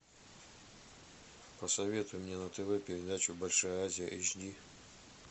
посоветуй мне на тв передачу большая азия эйч ди